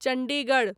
Chandigarh